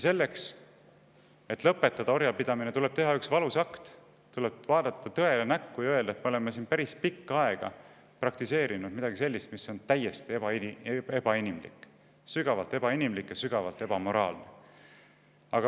Selleks, et orjapidamine lõpetada, tuleb teha üks valus akt: tuleb vaadata tõele näkku ja, et me oleme päris pikka aega praktiseerinud midagi sellist, mis on täiesti ebaebainimlik, sügavalt ebainimlik ja sügavalt ebamoraalne.